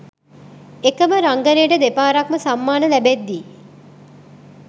එකම රංගනයට දෙපාරක්ම සම්මාන ලැබෙද්දී